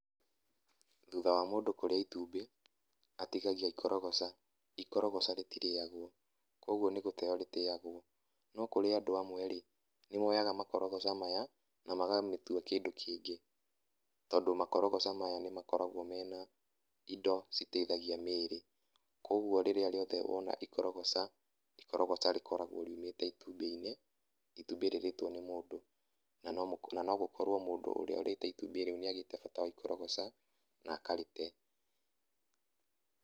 Thutha wa mũndũ kũrĩa itumbĩ, atigagia ikorogoca, ikorogoca rĩtirĩagwo kwoguo nĩ gũteyo rĩteyagwo. No kũrĩ andũ amwe ĩ nĩmoyaga makorogoca maya na makamatua kĩndũ kĩngĩ ,tondũ makorogoca maya nĩ makoragwo mena indo citeithagia mĩĩrĩ. Kwoguo rĩrĩa rĩothe wona ikorogoca, ikorogoca rĩkoragwo riumĩte itumbĩ-inĩ, itumbĩ rĩrĩtwo nĩ mũndũ. Na nogũkorwo mũndũ ũrĩa ũrĩte itumbĩ rĩu nĩ agĩte bata wa ikorogoca na akarĩte.